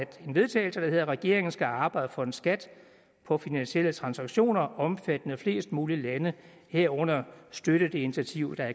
til vedtagelse regeringen skal arbejde for en skat på finansielle transaktioner omfattende flest mulige lande herunder støtte det initiativ der